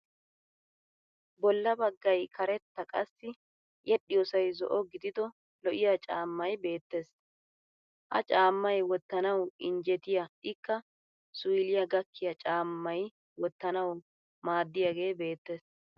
Bollaa baggay karetta qassi yedhdhiyoosay zo'o gidido lo'iyaa caammay beettes. Ha caammay wottanaw injjetiya ikka suyliyaa gakkiya caammay wottanawu maaddiyaagee beettes.